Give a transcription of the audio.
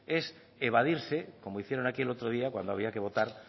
es evadirse como hicieron aquí el otro día cuando había que votar